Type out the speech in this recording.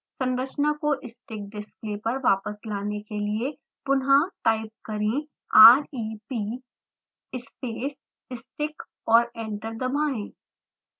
संरचना को stick display पर वापस लाने के लिए पुन्हा टाइप करें rep space stick और एंटर दबाएँ